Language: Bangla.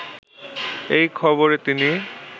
এই খবরে তিনি